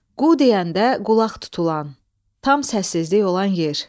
Qu deyəndə qulaq tutulan, tam səssizlik olan yer.